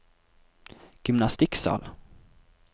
gymnastikksal